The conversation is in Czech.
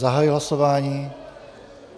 Zahajuji hlasování.